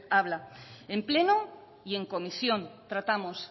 habla en pleno y en comisión tratamos